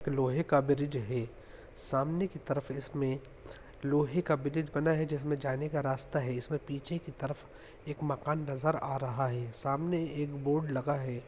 लोहै का ब्रिज है सामने की तरफ इसमें लोहै का ब्रिज बना है जिसमें जाने का रास्ता है इसमें पीछे की तरफ एक मकान नजर आ रहा है सामने एक ब्नोर्ड लगा है।